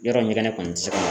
Yɔrɔ ɲɛgɛnɛ kɔni tɛ se ka